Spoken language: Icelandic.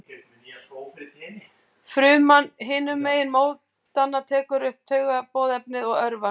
Fruman hinum megin mótanna tekur upp taugaboðefnið og örvast.